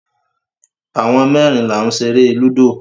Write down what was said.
Àwọn mẹ́rin là ń ṣeré lúdò.